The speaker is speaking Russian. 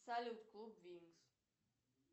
салют клуб винкс